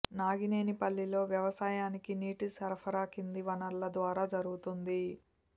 నాగినేనిపల్లిలో వ్యవసాయానికి నీటి సరఫరా కింది వనరుల ద్వారా జరుగుతోంది